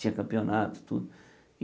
Tinha campeonato, tudo.